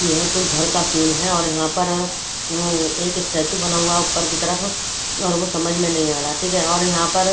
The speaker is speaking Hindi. यह कोई घर का सीन है और यहां पर उम एक स्टेचू बना हुआ है ऊपर की तरफ और वो समझ में नहीं आ रहा ठीक है और यहां पर--